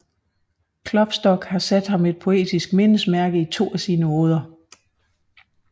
Klopstock har sat ham et poetisk mindesmærke i to af sine oder